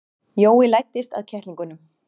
Jói læddist að kettlingunum.